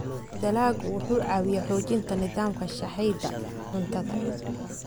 Dalaggu wuxuu caawiyaa xoojinta nidaamka sahayda cuntada.